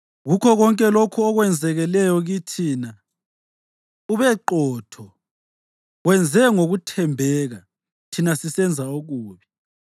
Kukho konke lokho okwenzakeleyo kithi, ubeqotho; wenze ngokuthembeka, thina sisenza okubi.